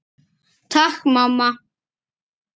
Takk mamma!